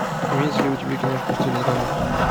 имеется ли у тебя киношка в стиле драмы